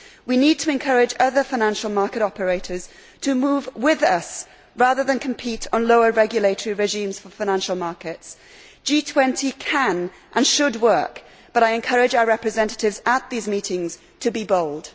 We need to encourage other financial market operators to move with us rather than compete on lower regulatory regimes for financial markets. The G20 can and should work, but I encourage our representatives at these meetings to be bold.